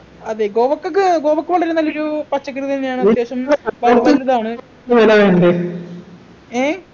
അതെ കോവക്കക്ക് കോവക്ക കൊണ്ടൊരു നല്ലൊരു പച്ചക്കറി തന്നെയാണ് അത്യാവശ്യം ഏഹ്ഹ്